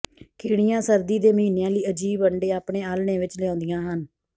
ਕੀੜੀਆਂ ਸਰਦੀ ਦੇ ਮਹੀਨਿਆਂ ਲਈ ਅਜੀਬ ਅੰਡੇ ਆਪਣੇ ਆਲ੍ਹਣੇ ਵਿਚ ਲਿਆਉਂਦੀਆਂ ਹਨ